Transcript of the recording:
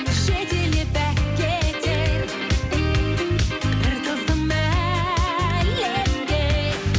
жетелеп алып кетер бір тылсым әлемге